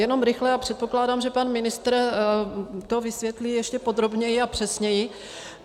Jenom rychle a předpokládám, že pan ministr to vysvětlí ještě podrobněji a přesněji.